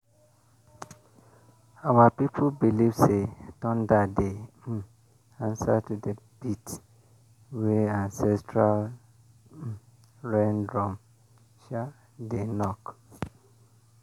our people believe say thunder dey um answer to the beat wey ancestral um rain drum um dey knock